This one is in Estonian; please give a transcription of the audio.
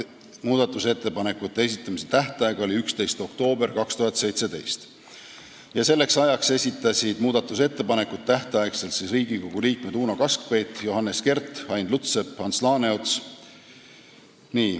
Muudatusettepanekute esitamise tähtaeg oli 11. oktoobril 2017 ja selleks ajaks esitasid muudatusettepanekuid Riigikogu liikmed Uno Kaskpeit, Johannes Kert, Ain Lutsepp ja Ants Laaneots.